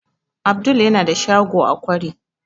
Abdul yana da shago a kwari